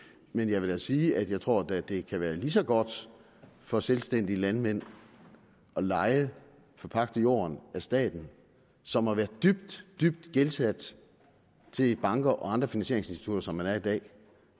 men jeg vil da sige at jeg tror at det kan være lige så godt for selvstændige landmænd at leje eller forpagte jorden af staten som at være dybt dybt gældsat til banker og andre finansieringsinstitutter som man er i dag